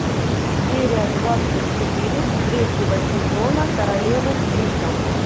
серия двадцать четыре третьего сезона королевы крика